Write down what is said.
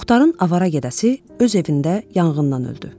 Muxtarın avara gedəsi öz evində yanğından öldü.